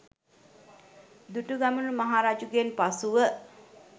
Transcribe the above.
දුටුගැමුණු මහ රජුගෙන් පසුව